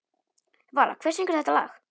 Vala, hver syngur þetta lag?